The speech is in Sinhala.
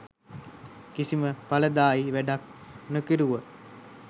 කිසිම පලදායී වැඩක් නොකැරුව